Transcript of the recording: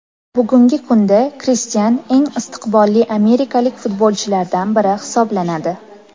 Bugungi kunda Kristian eng istiqbolli amerikalik futbolchilardan biri hisoblanadi.